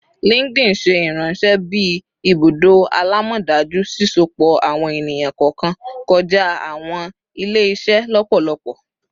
LinkedIn ṣe iranṣẹ bi ibudo alamọdaju, sisopọ awọn eniyan kọọkan kọja awọn ile-iṣẹ lọpọlọpọ